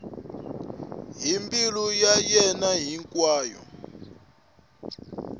hi mbilu ya yena hinkwayo